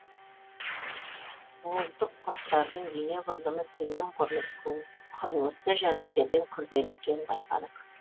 буылтық құрттардың дене құрылымы төмен құрылысты жәндіктерден күрделі екенін байқадық